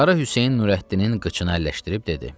Qara Hüseyn Nurəddinin qıçını əlləşdirib dedi: